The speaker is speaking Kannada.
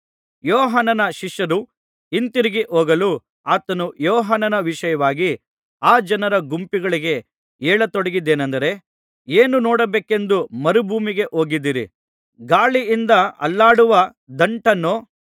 ಯೋಹಾನನ ಶಿಷ್ಯರು ಹಿಂತಿರುಗಿ ಹೋಗಲು ಆತನು ಯೋಹಾನನ ವಿಷಯವಾಗಿ ಆ ಜನರ ಗುಂಪುಗಳಿಗೆ ಹೇಳತೊಡಗಿದ್ದೇನಂದರೆ ಏನು ನೋಡಬೇಕೆಂದು ಮರುಭೂಮಿಗೆ ಹೋಗಿದ್ದಿರಿ ಗಾಳಿಯಿಂದ ಅಲ್ಲಾಡುವ ದಂಟನ್ನೋ